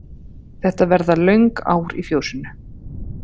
Þetta verða löng ár í fjósinu.